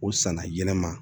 O sanna yɛlɛma